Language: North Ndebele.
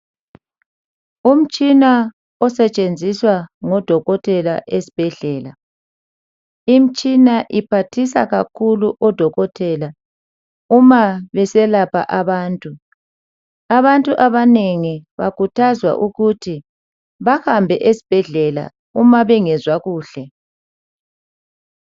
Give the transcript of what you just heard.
umtshina osetshenziswa ngodokotela ezibhedlela. Imtshina iphathisa kakhulu odokotela uma beselapha abantu. Abantu abanengi bakhuthazwa ukuthi bahambe esibhedlela uma bengezwa kuhle.